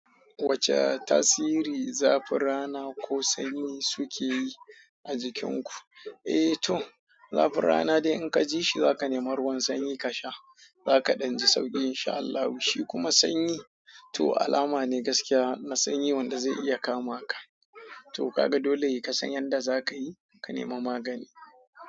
Wace tasiri zafin rana ko sanyi suke yi a jikin ku? Eh to, zafin rana dai in ka ji shi za ka nemi ruwan sanyi ka sha. Za ka danji sauki in sha Allah, shi kuma sanyi to alama ne gaskiya na sanyi wanda zai iya kama ka. To ka ga dole ka san yanda za ka yi, ka nema magani.